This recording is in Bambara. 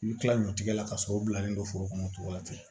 I bɛ kila ɲɔ tigɛ la ka sɔrɔ u bilalen don foro kɔnɔ cogo la ten